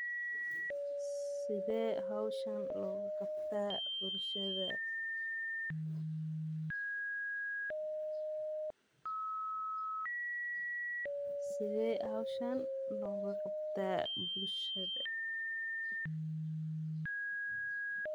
Sithe hoshan logu qabtaa bulshada sithe logu qabtaa bulshada.